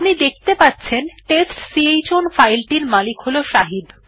আপনি দেখতে পাচ্ছেন টেস্টচাউন ফাইল টির মালিক হল শাহিদ